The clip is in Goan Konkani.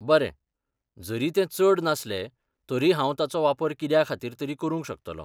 बरें, जरी ते चड नासले तरी हांव ताचो वापर कित्या खातीर तरी करूंक शकतलों .